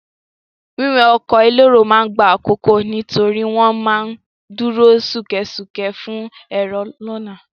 Wíwọ ọkọ̀ elérò ma ń gba àkókò nítorí wọ́n ma ń dúró ṣúkẹ́ṣúkẹ́ fún èrò lọ́nà.